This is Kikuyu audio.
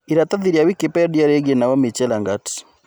ĩratathi ria Wikipedia rĩigie Naomi Chelagat